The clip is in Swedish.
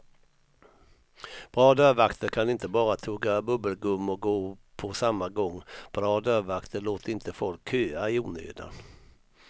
Bra dörrvakter kan inte bara tugga bubbelgum och gå på samma gång, bra dörrvakter låter inte folk köa i onödan.